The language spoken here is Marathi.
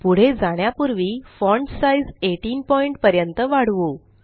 पुढे जाण्यापुर्वी फॉण्ट साइज़ 18 पॉइंट पर्यंत वाढवू